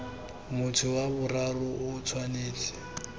motho wa boraro o tshwanetse